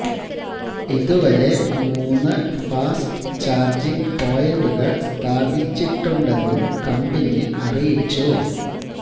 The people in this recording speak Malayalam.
ഇതുവരെ മൂന്ന് ഫാസ്റ്റ് ചാര്ജിംഗ് പോയിന്റുകള് സ്ഥാപിച്ചിട്ടുണ്ടെന്നും കമ്പനി അറിയിച്ചു